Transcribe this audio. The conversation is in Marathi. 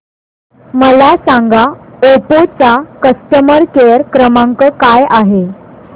मला सांगा ओप्पो चा कस्टमर केअर क्रमांक काय आहे